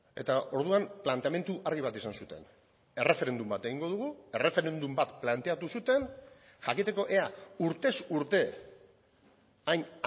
eta orduan planteamendu argi bat izan zuten erreferendum bat egingo dugu erreferendum bat planteatu zuten jakiteko ea urtez urte hain